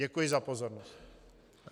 Děkuji za pozornost.